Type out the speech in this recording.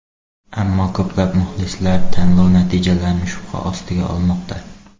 Ammo ko‘plab muxlislar tanlov natijalarini shubha ostiga olmoqda.